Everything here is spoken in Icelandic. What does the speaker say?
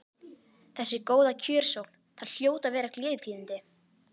Þessi góða kjörsókn, það hljóta að vera gleðitíðindi?